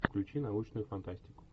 включи научную фантастику